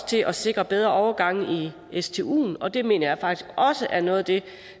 til at sikre bedre overgange i stuen og det mener jeg faktisk også er noget af det